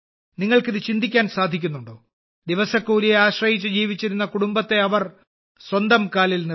നിങ്ങൾക്ക് ഇത് ചിന്തിക്കാൻ സാധിക്കുന്നുണ്ടോ ദിവസക്കൂലിയെ ആശ്രയിച്ച് ജീവിച്ചിരുന്ന കുടുംബത്തെ അവർ സ്വന്തം കാലിൽ നിർത്തി